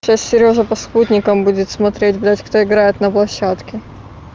сейчас серёжа по спутникам будет смотреть блядь кто играет на площадке